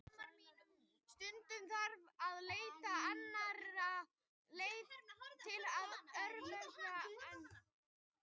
Stundum þarf að leita annarra leiða til örvunar en gert hefur verið.